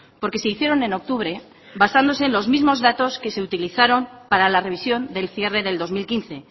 porque se hicieron en octubre basándose en los mismos datos que se utilizaron para la revisión del cierre del dos mil quince